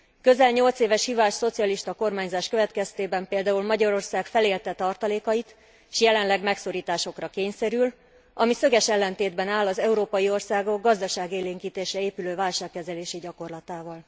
Közel nyolc éves hibás szocialista kormányzás következtében például Magyarország felélte tartalékait, s jelenleg megszorításokra kényszerül, ami szöges ellentétben áll az európai országok gazdaságélénkítésre épülő válságkezelési gyakorlatával.